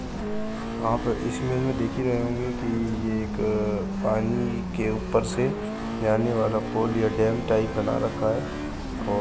आप इस इमेज में देख ही रहे होंगे कि ये एक पानी के ऊपर से जाने वाला पुल या डैम टाइप बना रखा है और --